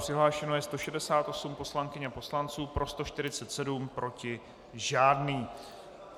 Přihlášeno je 168 poslankyň a poslanců, pro 147, proti žádný.